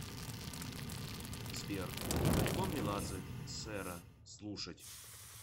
сбер альбом меладзе сэра слушать